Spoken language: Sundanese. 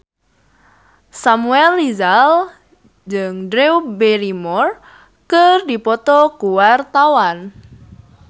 Samuel Rizal jeung Drew Barrymore keur dipoto ku wartawan